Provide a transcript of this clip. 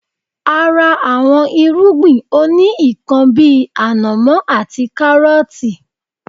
A ra àwọn irúgbìn òní ikán bíi ànàmọ́ àti káárọtii